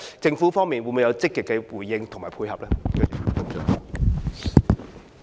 政府會否有積極的回應及配合呢？